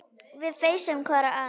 Við feisum hvor ann